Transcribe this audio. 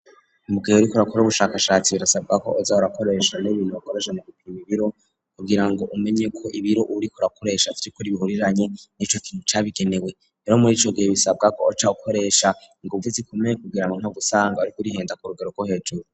Mugihe uriko urakora ubushakashatsi birasabwa ko aza arakoresha n'ibintu bakoresheje mu gupima ibiro kugira ngo umenye ko ibiro uriko urakoresha vyukuri bihuriranye n'ico kintu cabigenewe rero muri ico gihe bisabwa ko uca ukoresha inguvu zikomeye kugira ngo ntusange uriko urihenda ku rugero gwo hejuru.